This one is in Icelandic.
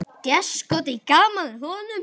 Déskoti gaman að honum.